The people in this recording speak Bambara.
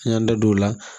An y'an da don o la